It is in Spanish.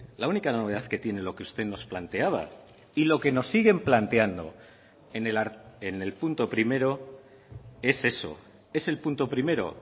la única novedad que tiene lo que usted nos planteaba y lo que nos siguen planteando en el punto primero es eso es el punto primero